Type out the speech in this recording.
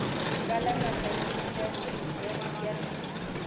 ho palama kariki ya ritjha